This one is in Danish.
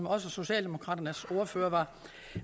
også socialdemokraternes ordfører